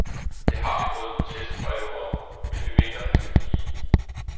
Det har vi fået protestbreve om, men vi mener, han skal blive.